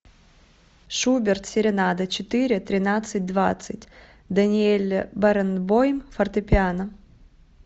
шуберт серенада четыре тринадцать двадцать даниэль баренбойм фортепиано